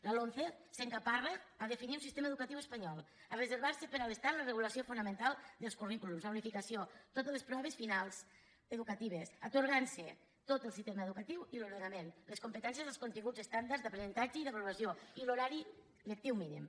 la lomce s’encaparra a definir un sistema educatiu espanyol a reservar se per a l’estat la regulació fonamental dels currículums la unificació totes les proves finals educatives i s’atorga tot el sistema educatiu i l’ordenament les competències i els continguts estàndards d’aprenentatge i d’avaluació i l’horari lectiu mínim